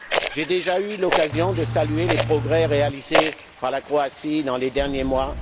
J'ai déjà eu l'occasion de saluer les progrès réalisés par la Croatie au cours des derniers mois